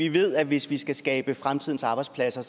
vi ved at hvis vi skal skabe fremtidens arbejdspladser